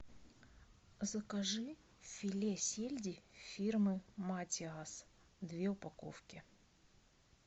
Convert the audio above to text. закажи филе сельди фирмы матиас две упаковки